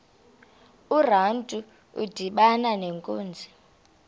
urantu udibana nenkunzi